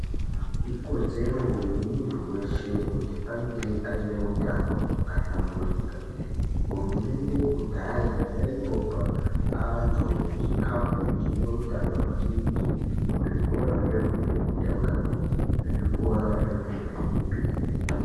Ikodzero yemuntu weshe kuti ange aneutano hwakahlamburuka. Hurumende kudhaya yaimbopa antu chikafu chine utano maningi muzvikora zvefundo yekutanga nezvikora zvefundo yechipiri.